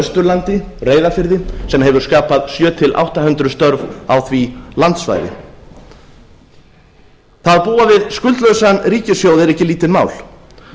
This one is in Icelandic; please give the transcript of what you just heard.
austurlandi reyðarfirði sem hefur skapað sjö hundruð til átta hundruð störf á því landsvæði að búa við skuldlausan ríkissjóð er ekki lítið mál